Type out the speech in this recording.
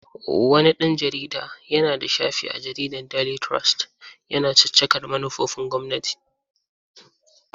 Wani ɗan jarida yana da shafi a jaridar Daily Trust yana caccakar manufofin gwamnati.